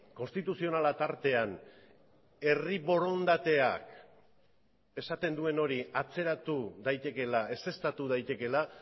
konstituzionala tartean herri borondateak esaten duen hori atzeratu daitekeela ezeztatu daitekeela